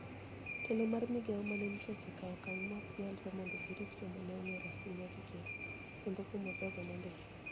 Telo mar migao mane nitie osekawo okang ' ma ok nyalre mondo girit joma ne onig'ere ahinya gi ker, kendo kumo jogo nondiki.